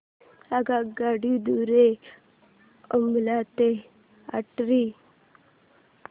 आगगाडी द्वारे अंबाला ते अटारी